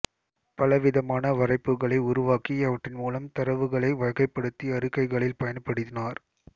பலவிதமான வரைபுகளை உருவாக்கி அவற்றின் மூலம் தரவுகளை வகைப்படுத்தி அறிக்கைகளில் பயன்படுத்தினார்